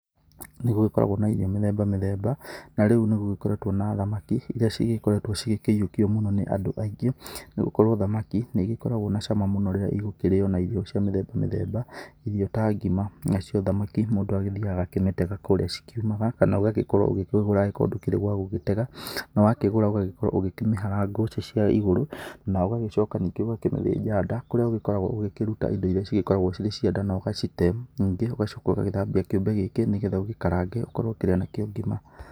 Nĩgũgĩkoragwo na irio mĩthemba mĩthemba, na rĩu nĩgũgĩkoretwo na thamaki, iria cigĩkoretwo cĩgĩkĩyũkio mũno nĩ andũ aingĩ. Nĩ gũkorwo thamaki nĩigĩkoragwo na cama mũno rĩrĩa igũkĩrĩo na irio cia mĩthemba mĩthemba, irio ta ngima. Nacio thamaki, mũndũ agĩthiaga agakĩmĩtega kũrĩa cikiumaga, kana ũgagĩkorwo ũgĩkĩgũra agĩkorwo ndũkĩrĩ gwa gũgĩtega. Na wakĩgũra, ũgagĩkorwo ũgĩkĩmahara ngũcĩ ciayo igũrũ, na ũgagĩcoka ningĩ ũgakĩmĩthĩnja nda, kũrĩa ũgĩkoragwo ũgĩkĩruta indo iria cĩgĩkoragwo cirĩ cia nda, na ũgacite. Ningĩ ũgacoka ũgagĩthambia kĩũmbe gĩkĩ, nĩgetha ũgĩkarange, ũkorwo ũkĩrĩa nakĩo ngima.